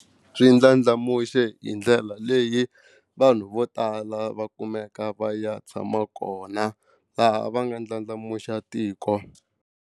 Swi ndlandlamuxe hi ndlela leyi vanhu vo tala va kumeka va ya tshama kona laha va nga ndlandlamuxa tiko.